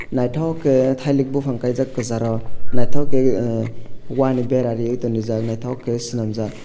nythok ke thalik bufang kaijak kasaro nythok ke wahh ni bera re tonjeejak nythok ke swnamjaak.